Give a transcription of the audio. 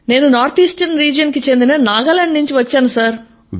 నేను north eastern region కి చెందిన నాగాలాండ్ నుంచి వచ్చాను సర్